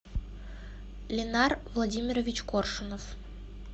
линар владимирович коршунов